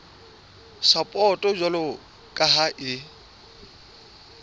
sapoto jwalo ka ha e